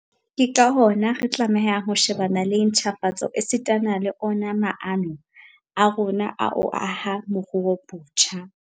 Ke ka hona re tlamehang ho shebana le ntjhafatso esitana le ona maano a rona a ho aha moruo botjha.